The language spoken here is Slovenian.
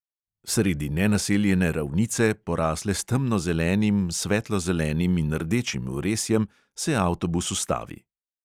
Sredi nenaseljene ravnice, porasle s temnozelenim, svetlozelenim in rdečim vresjem, se avtobus ustavi.